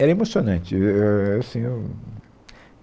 Era emocionante. E e é assim eu